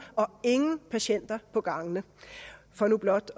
og ingen patienter på gangene for nu blot